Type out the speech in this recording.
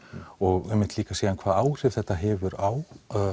og einmitt líka síðan hvaða áhrif þetta hefur á